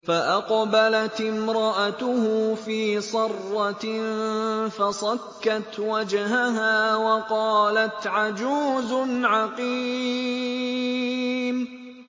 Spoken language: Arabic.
فَأَقْبَلَتِ امْرَأَتُهُ فِي صَرَّةٍ فَصَكَّتْ وَجْهَهَا وَقَالَتْ عَجُوزٌ عَقِيمٌ